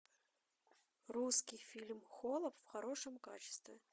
русский фильм холоп в хорошем качестве